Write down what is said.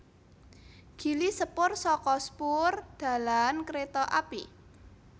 Gili sepur saka spoor dalan kereta api